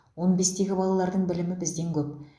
он бестегі балалардың білімі бізден көп